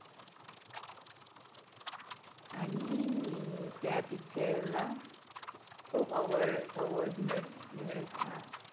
आणि त्या Picture ला खूप Award Award मिळ मिळतात